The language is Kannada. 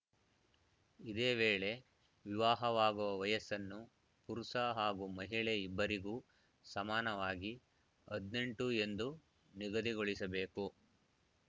ಇದೇ ವೇಳೆ ವಿವಾಹವಾಗುವ ವಯಸ್ಸನ್ನು ಪುರುಷ ಹಾಗೂ ಮಹಿಳೆ ಇಬ್ಬರಿಗೂ ಸಮಾನವಾಗಿ ಹದಿನೆಂಟು ಎಂದು ನಿಗದಿಗೊಳಿಸಬೇಕು